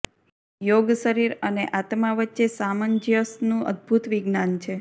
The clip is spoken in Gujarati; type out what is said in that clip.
યોગ શરીર અને આત્મા વચ્ચે સામંજસ્યનું અદભૂત વિજ્ઞાન છે